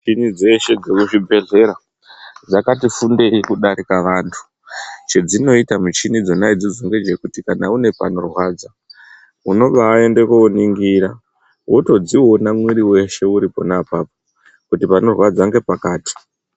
Michini dziri muchibhedhlera dzakatisimbire kudarika vantu, chedzinoite michini dzona idzodzo ndechekuti kana une panorwadza dzinobaaende koringira woto dziona mwiri weshe uri pona apapo kuti panorwadza ngepakati.